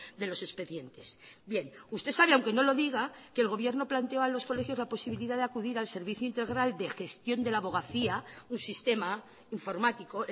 de los expedientes bien usted sabe aunque no lo diga que el gobierno planteó a los colegios la posibilidad de acudir al servicio integral de gestión de la abogacía un sistema informático